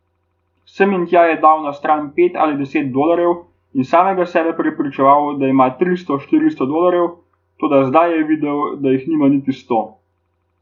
Sem in tja je dal na stran pet ali deset dolarjev in samega sebe prepričeval, da ima tristo, štiristo dolarjev, toda zdaj je videl, da jih nima niti sto.